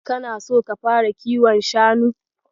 Kana so ka fara kiwon shanu?